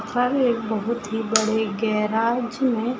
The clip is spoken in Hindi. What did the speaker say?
सामने एक बहुत ही बड़े गेराज मे --